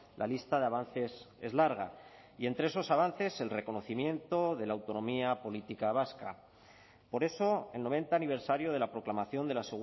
la lista de avances es larga y entre esos avances el reconocimiento de la autonomía política vasca por eso el noventa aniversario de la proclamación de la